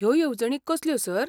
ह्यो येवजणी कसल्यो, सर?